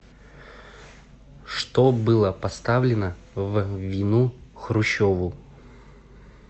что было поставлено в вину хрущеву